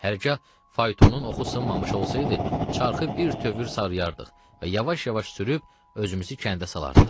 Hərgah faytonun oxu sınmamış olsaydı, çarxı birtövür sarıyarıq və yavaş-yavaş sürüb özümüzü kəndə salardıq.